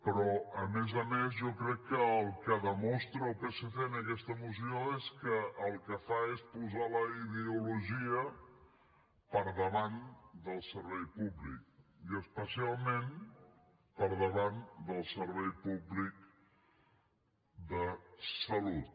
però a més a més jo crec que el que demostra el psc en aquesta moció és que el que fa és posar la ideologia per davant del servei públic i especialment per davant del servei públic de salut